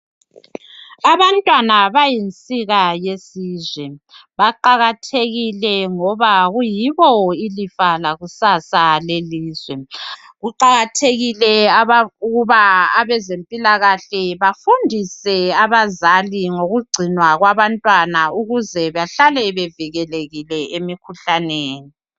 Abantwana bayinsika yesizwe. Baqakathekile ngoba kuyibo ilifa lakusasa lelizwe. Kuqakathekile aba ukuba abezempilakahle bafundise abazali ngokugcinwa kwabantwana ukuze bahlale bevikelekile emikhuhlaneni.